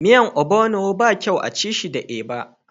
Miyan ogbono ba kyau a'ci shi da eba.